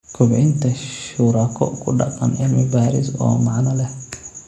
Kobcinta shuraako-ku-dhaqan cilmi-baaris oo macno leh